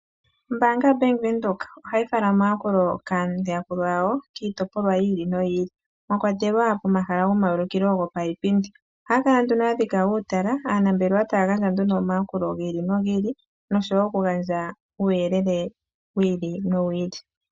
Ombaanga yoBank Windhoek ohayi fala omayakulo kaayakulwa ya wo kiitopolwa yi ili noyi ili, mwa kwatelwa pomahala gomayulukilo giipindi. Ohaya kala ya dhika uutala, aanambelewa taya gandja omayakulo gi ili nogi ili nosho wo oku gandja uuyelele wi ili nowi ili.